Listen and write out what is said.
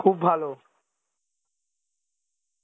খুব ভালো